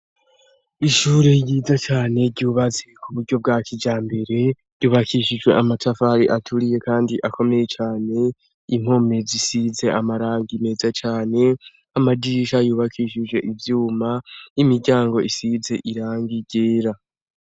Ishure ryiza cane ryubazi ku buryo bwa kija mbere ryubakishijwe amatafari aturiye, kandi akomeye cane impome zisize amaranga meza cane amajisha yubakishije ivyuma imiryango isize iranga irera.